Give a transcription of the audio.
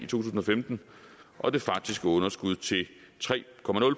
tusind og femten og det faktiske underskud til tre